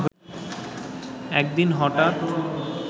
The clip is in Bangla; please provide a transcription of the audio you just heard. একদিন হঠাৎ